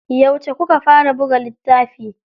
Yauce kuka fara buga littafi?